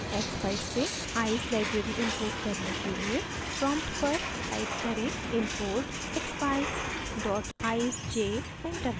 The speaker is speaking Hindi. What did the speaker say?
expeyes से eyes library import करने के लिए prompt पर type करें import expeyes eyesj enter दबाएँ